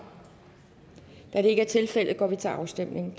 da det ikke er tilfældet går vi til afstemning